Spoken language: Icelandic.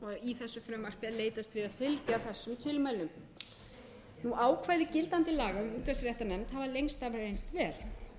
í þessu frumvarpi er leitast við fylgja þessum tilmælum ákvæði gildandi laga um útvarpsréttarnefnd hafa lengst af reynst vel en